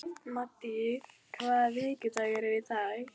Maddý, hvaða vikudagur er í dag?